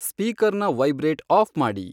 ಸ್ಪೀಕರ್ನ vibrate off ಮಾಡಿ